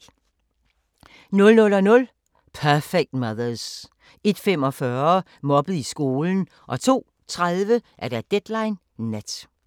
00:00: Perfect Mothers 01:45: Mobbet i skolen 02:30: Deadline Nat